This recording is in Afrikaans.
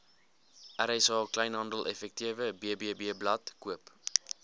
rsa kleinhandeleffektewebblad koop